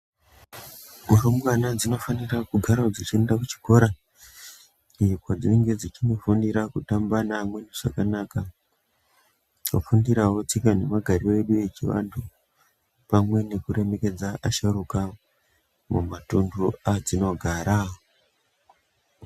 Mirimbwana dzinofana kugara dzechienda kuchikora, eh kwedzinenge dzechimbofundira kutamba neamweni zvakanaka, kufundirawo tsika nemagariro edu echivanthu, pamwe nekuremekedze vasharuka mumatuntu edzinogara.